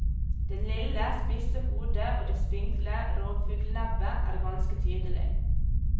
Det lille, spisse hodet og det spinkle rovfuglnebbet er ganske tydelig.